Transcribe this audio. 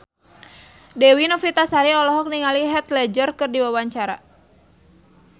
Dewi Novitasari olohok ningali Heath Ledger keur diwawancara